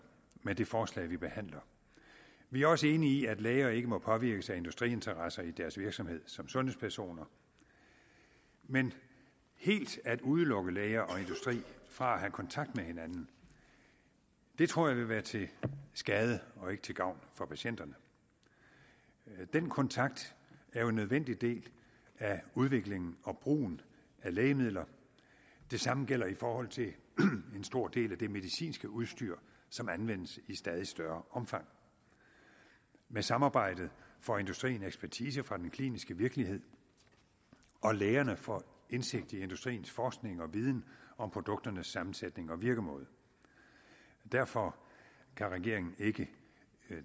med det forslag vi behandler vi er også enige i at læger ikke må påvirkes af industriinteresser i deres virksomhed som sundhedspersoner men helt at udelukke læger og industri fra at have kontakt med hinanden tror jeg vil være til skade og ikke til gavn for patienterne den kontakt er jo en nødvendig del af udviklingen og brugen af lægemidler det samme gælder i forhold til en stor del af det medicinske udstyr som anvendes i stadig større omfang med samarbejdet får industrien ekspertise fra den kliniske virkelighed og lægerne får indsigt i industriens forskning og viden om produkternes sammensætning og virkemåde derfor kan regeringen ikke